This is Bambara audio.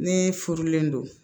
Ni furulen don